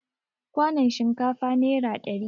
Kwanon shinkafa nera ɗari